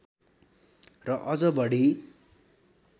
र अझ बढी